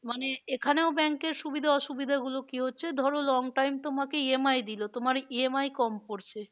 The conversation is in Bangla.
মানে এখানেও bank এর সুবিধা অসুবিধা গুলো কি হচ্ছে ধরো long time তোমাকে EMI দিলো তোমার EMI কম পরছে